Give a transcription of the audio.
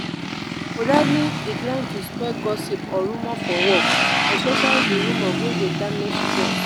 politely decline to spread gossip or rumour for work especially di rumore wey dey damage trust